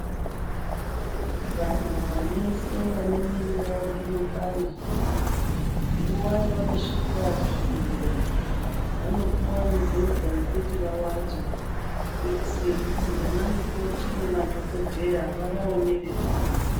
Vantu veshe vanemuviri mwawo inopanda nguva yavanosvika kuzvibhedhlera vanopiwa mibhedha yekuti vawate kuitire kuti vana mukoti nemadhogodheya vavaonere padhuze.